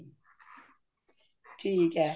ਠੀਕ ਹੈ